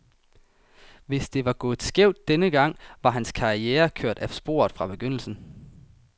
Hvis det var gået skævt den gang, var hans karriere kørt af sporet fra begyndelsen.